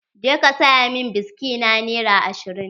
Je ka saya min biski na nera ashirin